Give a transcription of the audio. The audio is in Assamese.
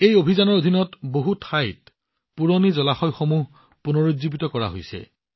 এই অভিযানৰ অধীনত বহু ঠাইত পুৰণি জলাশয়বোৰো পুনৰুজ্জীৱিত কৰা হৈছে